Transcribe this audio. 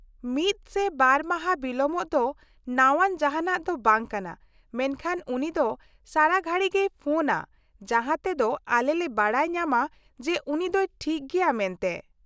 -ᱢᱤᱫ ᱥᱮ ᱵᱟᱨ ᱢᱟᱦᱟ ᱵᱤᱞᱚᱢᱚᱜ ᱫᱚ ᱱᱟᱣᱟᱱ ᱡᱟᱦᱟᱸᱱᱟᱜ ᱫᱚ ᱵᱟᱝ ᱠᱟᱱᱟ, ᱢᱮᱱᱠᱷᱟᱱ ᱩᱱᱤ ᱫᱚ ᱥᱟᱨᱟᱜᱷᱟᱹᱲᱤ ᱜᱮᱭ ᱯᱷᱳᱱᱼᱟ ᱡᱟᱦᱟᱸ ᱛᱮ ᱫᱚ ᱟᱞᱮ ᱞᱮ ᱵᱟᱰᱟᱭ ᱧᱟᱢᱟ ᱡᱮ ᱩᱱᱤ ᱫᱚᱭ ᱴᱷᱤᱠ ᱜᱮᱭᱟ ᱢᱮᱱᱛᱮ ᱾